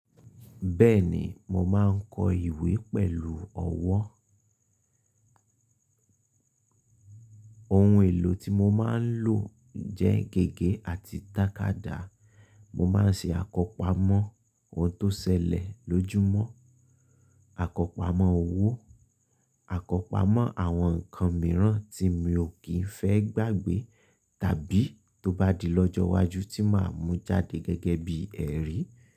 Bẹ́ẹ̀ni, mo máa ń kọ ìwé pẹ̀lú ọwọ́. Ohun èlò tí mo máa ń lò jẹ́ gègé àti tàkádá. Mo máa ń ṣe àkópamọ́ ohun tó ṣẹlẹ̀ lójúmọ́, àkópamọ́ òwò, àkópamo àwọn nǹkan mìíràn tí mi ò kí ń fẹ́ gbàgbé tàbí tó bá di lọ́jọ́ iwájú tí máa mú jáde gẹ́gẹ́ bí ẹ̀rí.